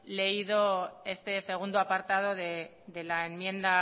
leído este segundo apartado de la enmienda